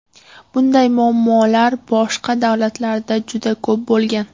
Bunday muammolar boshqa davlatlarda juda ko‘p bo‘lgan.